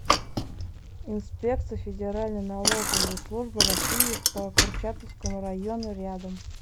инспекция федеральной налоговой службы россии по курчатовскому району рядом